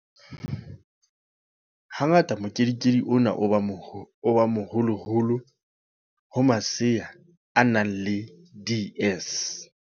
Ha ngata mokedikedi ona o ba moholoholo ho masea a nang le DS.